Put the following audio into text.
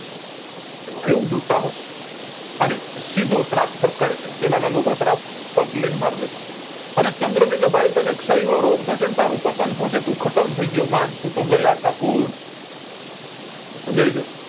એવું દુ સાહસ અને સીધો શ્રાપ ઠપકારે સાયબ પેલા ના લોકો શ્રાપ ફાટ દય ને માર દેતા અને ચંદ્ર ને કે ભાઈ તને ક્ષય નો રોગ થશે ને તારું પતન થશે તું ખતમ થઈ ગયો માન તું તો ગયા ઠાકુર સમજાય છે